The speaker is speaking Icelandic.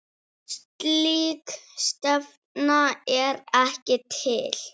Slík stefna er ekki til.